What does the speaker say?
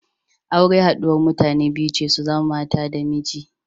Aure haɗuwar mutane biyu ce su zama mata da miji.